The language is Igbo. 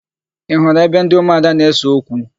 Ị hụrụ ebe ndị ụmụada na-ese okwu?